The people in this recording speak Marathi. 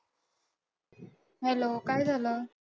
hello काय झालं?